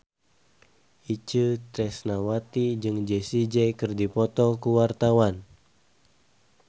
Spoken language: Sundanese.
Itje Tresnawati jeung Jessie J keur dipoto ku wartawan